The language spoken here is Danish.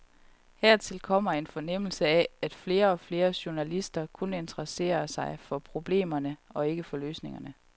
Hertil kommer en fornemmelse af, at flere og flere journalister kun interesserer sig for problemerne og ikke for løsningerne.